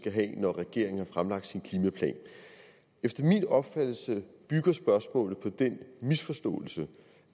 have når regeringen har fremlagt sin klimaplan efter min opfattelse bygger spørgsmålet på den misforståelse